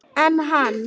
En hann!